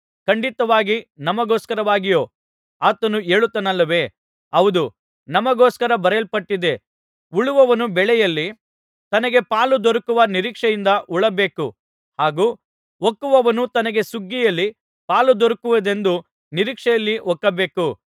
ಖಂಡಿತವಾಗಿ ನಮಗೋಸ್ಕರವಾಗಿಯೇ ಆತನು ಹೇಳುತ್ತಾನಲ್ಲವೇ ಹೌದು ನಮಗೋಸ್ಕರ ಬರೆಯಲ್ಪಟ್ಟಿದೆ ಉಳುವವನು ಬೆಳೆಯಲ್ಲಿ ತನಗೆ ಪಾಲು ದೊರಕುವ ನಿರೀಕ್ಷೆಯಿಂದ ಉಳಬೇಕು ಹಾಗೂ ಒಕ್ಕುವವನು ತನಗೆ ಸುಗ್ಗಿಯಲ್ಲಿ ಪಾಲು ದೊರಕುವುದೆಂದು ನಿರೀಕ್ಷೆಯಲ್ಲಿ ಒಕ್ಕಬೇಕು